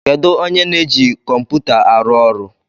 Kedụ onye na-eji kọmputa a arụ ọrụ?